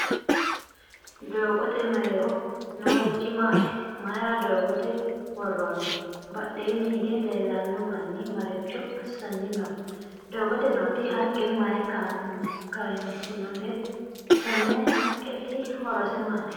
doggote mereeroho noorichi maati? mayira doggote woroonni? badheenni hige leelano manni maricho asanni no? doggote nooti haqqe mayi kayisinote? tenne haqqeti horose maati?